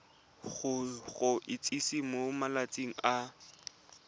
go itsise mo malatsing a